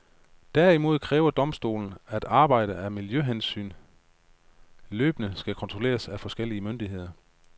Derimod kræver domstolen, at arbejdet af miljøhensyn løbende skal kontrolleres af forskellige myndigheder.